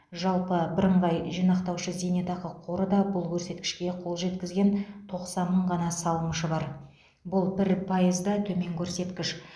жалпы бірыңғай жинақтаушы зейнетақы қоры да бұл көрсеткішке қол жеткізген тоқсан мың ғана салымшы бар бұл бір пайызда төмен көрсеткіш